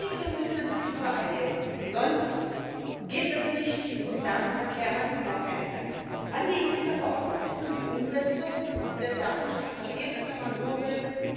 Vielen Dank! Und ich sage an den Rat Der hat noch eine Menge zu tun, Stichwort ePrivacy. Wir sind durch, wir sind fertig mit unseren Hausaufgaben und erwarten jetzt, dass die auch vom Rat gemacht werden. Das sei noch hinzugefügt.